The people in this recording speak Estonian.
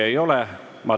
Näeme homme kell 10.